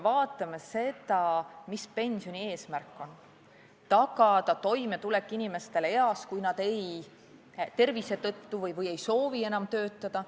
Vaatame seda, mis on pensioni eesmärk: tagada toimetulek inimestele eas, kui nad tervise tõttu ei saa või nad ei soovi enam töötada.